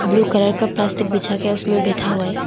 Blue colour का प्लास्टिक बिछा के उसमे बैठा हुआ है।